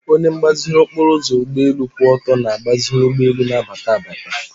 onye mgbaziri okporoụzọ ụgbọelu kwụ ọtọ na-agbaziri ụgbọelu na-abata abata.